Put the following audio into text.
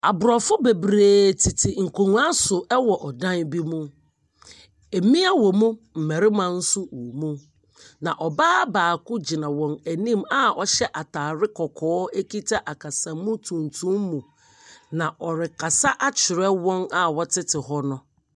Aborɔfo bebree tete nkonnwa so wɔ dan bi mu. Mmea wɔ mu, mmarima nso wɔ mu. Na ɔbaa baako gyina wɔn anim a ɔhyɛ ataare kɔkɔɔ akita akasamu tuntum mu, na ɔrekasa akyerɛ wɔn a wɔtete hɔ no.